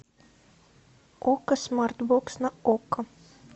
окко смарт бокс на окко